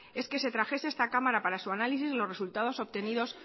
es que se trajese a esta cámara para su análisis los resultados obtenidos